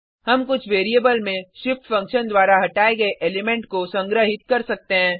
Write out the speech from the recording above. हम कुछ वेरिएबल में shift फंक्शन द्वारा हटाये गये एलिमेंट को संग्रहित कर सकते हैं